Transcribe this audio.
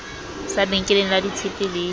sa benkeleng la ditshepe le